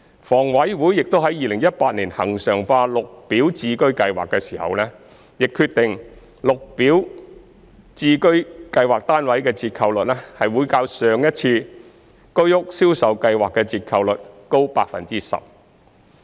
房委會於2018年恆常化綠表置居計劃時亦決定，綠置居單位的折扣率會較上一次居屋銷售計劃的折扣率高 10%。